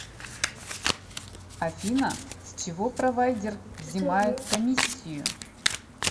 афина с чего провайдер взимает комиссию